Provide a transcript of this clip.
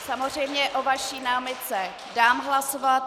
Samozřejmě o vaší námitce dám hlasovat.